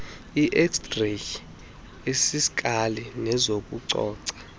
xray eziskali nezokucoca